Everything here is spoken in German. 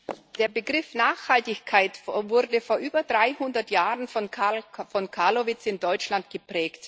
Der Begriff Nachhaltigkeit wurde vor über 300 Jahren von Hans Carl von Carlowitz in Deutschland geprägt.